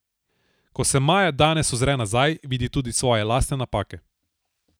Ko se Maja danes ozre nazaj, vidi tudi svoje lastne napake.